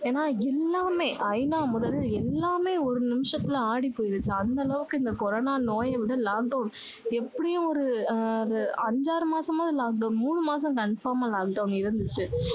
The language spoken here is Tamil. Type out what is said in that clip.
ஏன்னா எல்லாமே ஐநா முதல் எல்லாமே ஒரு நிமிஷத்துல ஆடி போயிருச்சு அந்த அளவுக்கு இந்த கொரோனா நோயை விட lockdown எப்படியும் ஒரு ஒரு அஞ்சாறு மாசமாவது lockdown மூணு மாசம் confirm ஆ lockdown இருந்துச்சு